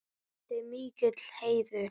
Þetta er mikill heiður.